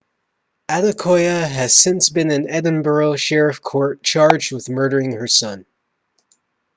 adekoya has since been in edinburgh sheriff court charged with murdering her son